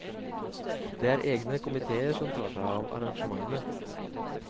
Det er egne komitéer som tar seg av arrangementene.